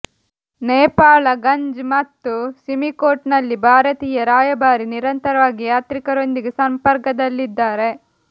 ನೇಪಾಳಗಂಜ್ ಮತ್ತು ಸಿಮಿಕೋಟ್ ನಲ್ಲಿ ಭಾರತೀಯ ರಾಯಭಾರಿ ನಿರಂತರವಾಗಿ ಯಾತ್ರಿಕರೊಂದಿಗೆ ಸಂಪರ್ಕದಲ್ಲಿದ್ದಾರೆ